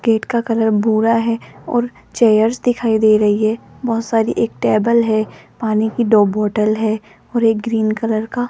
gate का colour भूरा है और चेयर्स दिखाई दे रही है बहोत सारी एक टेबल है पानी की दो बोटल है और एक ग्रीन कलर का --